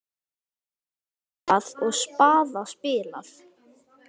Hjarta trompað og spaða spilað.